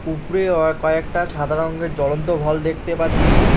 উপরে অ কয়েকটা সাদা রঙের জ্বলন্ত ভল দেখতে পাচ্ছি-ই।